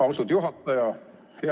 Austatud juhataja!